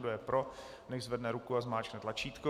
Kdo je pro, nechť zvedne ruku a zmáčkne tlačítko.